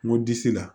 N ko disi la